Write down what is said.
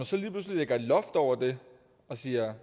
så lige pludselig lægger et loft over det og siger